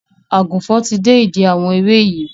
Àgùnfọn ti dé ìdí àwọn ewé yìí